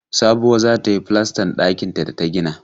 Sabuwa za ta yi falastan ɗakinta da ta gina.